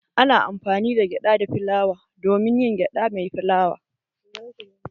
Ana amfani da gyada da filawa domin yin gyada mai filawa